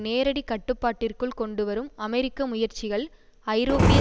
நேரடிக் கட்டுப்பாட்டிற்குள் கொண்டு வரும் அமெரிக்க முயற்சிகள் ஐரோப்பிய